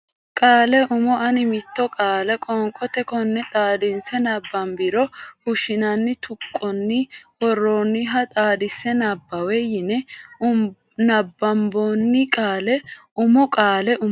Qaale Umo ani mitto qaale qoonqote konne xaadinse nabbambiro fushshinanni tuqqonni worroonniha xaadise nabbawe yine nabbambanni Qaale Umo Qaale Umo.